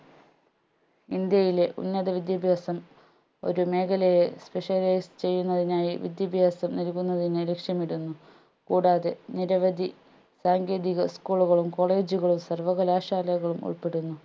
ഇന്ത്യയിലെ ഉന്നത വിദ്യാഭ്യാസം ഒരു മേഘലയെ specialise ചെയ്യുന്നതിനായി വിദ്യാഭ്യാസം നൽകുന്നതിന് ലക്ഷ്യമിടുന്നു കൂടാതെ നിരവധി സാങ്കേതിക school കളും college കളും സർവ്വകലാശാലകളും ഉൾപ്പെടുന്നു